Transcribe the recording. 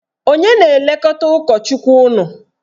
Onye na-elekọta ụkọchukwu unu?